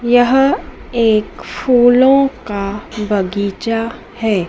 यह एक फूलों का बगीचा है।